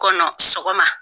kɔnɔ sɔgɔma.